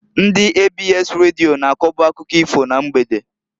Ndị ABS Radio na-akoba akụkọ ifo na mgbede.